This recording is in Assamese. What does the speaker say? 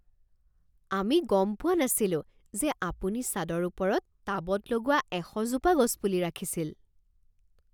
আমি গম পোৱা নাছিলোঁ যে আপুনি ছাদৰ ওপৰত টাবত লগোৱা এশ জোপা গছপুলি ৰাখিছিল